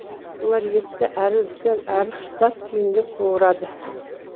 бұлар етті әрі үлкен әрі тұтас күйінде қуырады